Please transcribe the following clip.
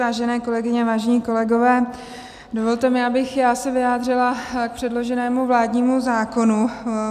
Vážené kolegyně, vážení kolegové, dovolte, abych i já se vyjádřila k předloženému vládnímu zákonu.